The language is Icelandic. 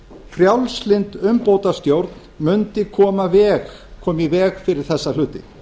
frjálslynd umbótastjórn mundi koma í veg fyrir þessa hluti